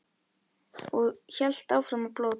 Og hélt áfram að blóta.